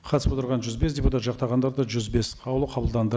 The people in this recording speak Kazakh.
қатысып отырған жүз бес депутат жақтағандар да жүз бес қаулы қабылданды